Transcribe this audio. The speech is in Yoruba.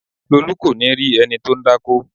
Lolu kò ní rí ẹni tó ń dákó